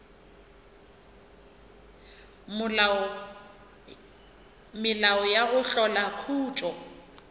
melao ya go hlola khutšo